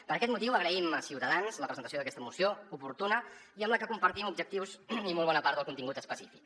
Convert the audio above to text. per aquest motiu agraïm a ciutadans la presentació d’aquesta moció oportuna i amb la que compartim objectius i molt bona part del contingut específic